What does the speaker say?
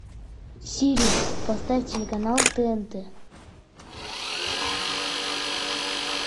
сири поставь телеканал тнт